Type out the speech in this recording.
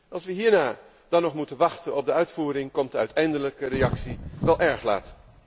Als we hierna dan nog moeten wachten op de uitvoering, komt de uiteindelijke reactie wel érg laat.